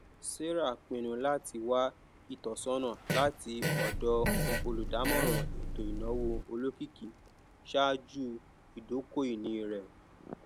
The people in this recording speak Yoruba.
sarah pinnu láti wá ìtọsọnà láti ọdọ olùdámọràn ètò ináwó olókìkí ṣáájú ìdókòínì rẹ